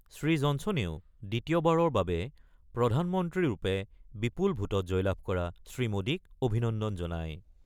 শ্ৰীজনছনেও দ্বিতীয়বাৰৰ বাবে প্ৰধানমন্ত্ৰীৰূপে বিপুল ভোটত জয়লাভ কৰা শ্ৰীমোদীক অভিনন্দন জনায়।